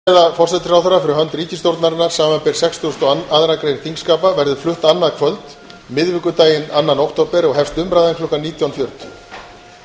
forseti vill tilkynna að stefnuræða forsætisráðherra fyrir hönd ríkisstjórnarinnar samanber sextugustu og aðra grein þingskapa verður flutt annað kvöld miðvikudaginn annan október og hefst umræðan klukkan nítján fjörutíu